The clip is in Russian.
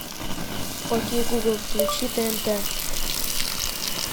окей гугл включи тнт